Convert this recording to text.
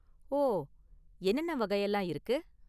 ஓ, என்னென்ன வகையெல்லாம் இருக்கு?